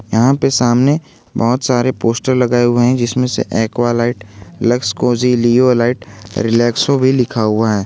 यहां पे सामने बहोत सारे पोस्टर लगाए हुए हैं जिसमें से Aqualite Lux Cozi Leolite Relaxo भी लिखा हुआ है।